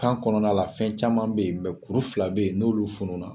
Kan kɔnɔna la fɛn caman bɛ yen mɛ kuru fila bɛ yen n'olu fun na